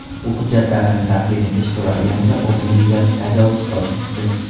U hujjatlarini taqdim etish so‘ralganida o‘zini juda tajovuzkor tutdi.